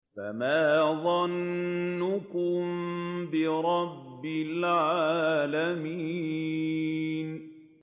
فَمَا ظَنُّكُم بِرَبِّ الْعَالَمِينَ